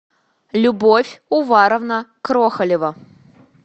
любовь уваровна крохолева